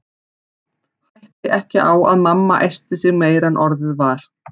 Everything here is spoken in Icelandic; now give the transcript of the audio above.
Hætti ekki á að mamma æsti sig meira en orðið var.